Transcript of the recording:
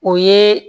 O ye